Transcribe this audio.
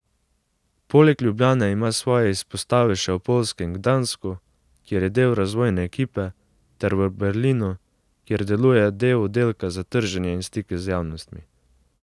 Poleg Ljubljane ima svoje izpostave še v poljskem Gdansku, kjer je del razvojne ekipe, ter v Berlinu, kjer deluje del oddelka za trženje in stike z javnostmi.